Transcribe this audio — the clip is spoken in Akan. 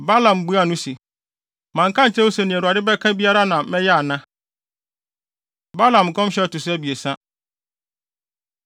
Balaam buaa no se, “Manka ankyerɛ wo se nea Awurade bɛka biara na mɛyɛ ana?” Balaam Nkɔmhyɛ A Ɛto So Abiɛsa